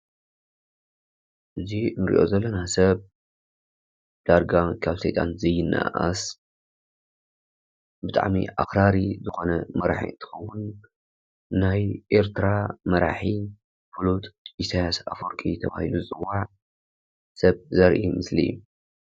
እዚ ንሪኦ ዘለና ሰብ ዳርጋ ካብ ሰይጣንን ዘየነኣኣስ ብጣዕሚ ኣክራሪ ዝኾነ መራሒ እንትኸውን ናይ ኤርትራ መራሒ ፍሉጥ ኢሳያስ ኣፈወርቂ ተባሂሉ ዝፅዋዕ ሰብ ዘርኢ ምስሊ እዩ ።